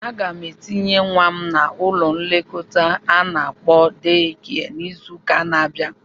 Aga m etinye nwa m n'ụlọ nlekọta a na-akpọ deekia n'izụka n'abia.